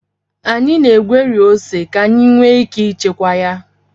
Anyị na-egweri ose ka anyị nwee ike ịchekwa ya